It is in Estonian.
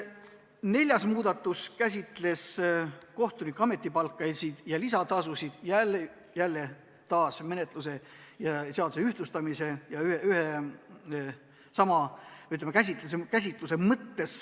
Neljas muudatusettepanek käsitleb kohtunikuabi ametipalka ja lisatasusid, seda jälle menetluse ja seaduse ühtlustamise mõttes.